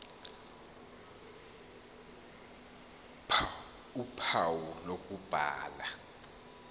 ph uphawu lokubhala